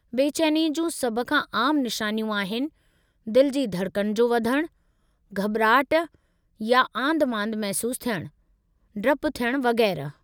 बेचैनीअ जूं सभ खां आम निशानियूं आहिनि, दिलि जी धड़कन जो वधणु, घॿिराहट या आंधिमांधि महसूसु थियणु, डपु थियणु वगै़रह।